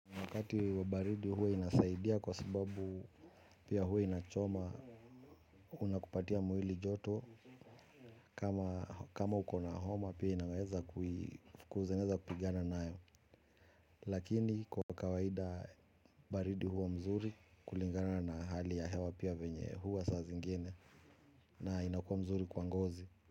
Wakati wa baridi huwa inasaidia kwa sababu pia huwa inachoma na kupatia mwili joto kama ukona homa pia inaweza kupigana nayo. Lakini kwa kawaida baridi huwa mzuri kulingana na hali ya hewa pia vyenye huwa saa zingine na inakuwa mzuri kwa ngozi.